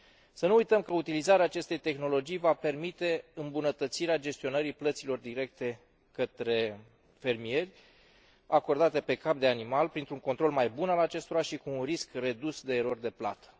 Să nu uităm că utilizarea acestei tehnologii va permite îmbunătățirea gestionării plăților directe către fermieri, acordate pe cap de animal, printr un control mai bun al acestora și cu un risc redus de erori de plată.